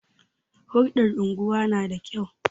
Hulɗar unguwa na da kyau.